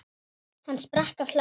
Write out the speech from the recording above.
Hann sprakk af hlátri.